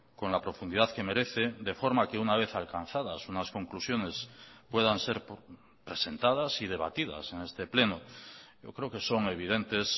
con la profundidad que merece de forma que una vez alcanzadas unas conclusiones puedan ser presentadas y debatidas en este pleno yo creo que son evidentes